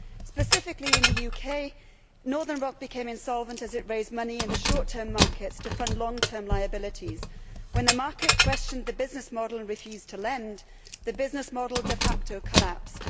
Specifically in the UK, Northern Rock became insolvent as it raised money in the short term markets to fund long term liabilities. When the market questioned the business model and refused to lend, the business model de facto collapsed.